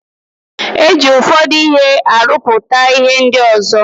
E ji ụfọdụ ihe arụpụta ihe ndị ọzo.